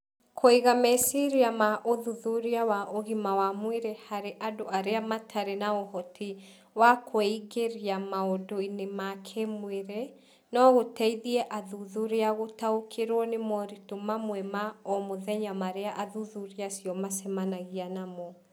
Kũiga meciria ma ũthuthuria wa ũgima wa mwĩrĩ harĩ andũ arĩa matarĩ na ũhoti wa kwĩingĩria maũndũ-inĩ ma kĩĩmwĩrĩ no gũteithie athuthuria gũtaũkĩrũo nĩ moritũ mamwe ma o mũthenya marĩa athuthuria acio macemanagia namo.